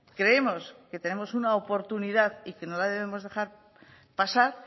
creemos que tenemos una oportunidad y que no la debemos dejar pasar